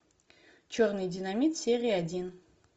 черный динамит серия один